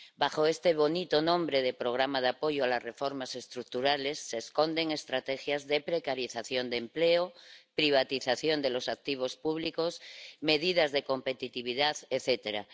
Bajo este bonito nombre de programa de apoyo a las reformas estructurales se esconden estrategias de precarización de empleo, privatización de los activos públicos, medidas de competitividad etcétera